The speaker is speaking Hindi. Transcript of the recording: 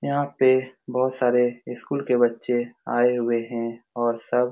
यहाँ पे बोहोत सारे स्कूल के बच्चे आये हुए हैं और सब --